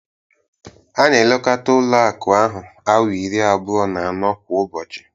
A na-elekota Ụlọ akụ ahụ awaa iri abụọ na anọ kwa ụbọchị.